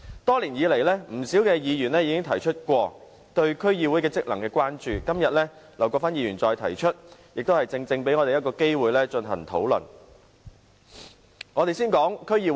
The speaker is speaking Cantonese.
多年來，不少議員曾提出對區議會職能的關注，今天，劉國勳議員再次提出相關議案，正正給予我們討論的機會。